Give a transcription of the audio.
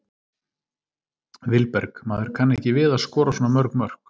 Vilberg: Maður kann ekki við að skora svona mörg mörk.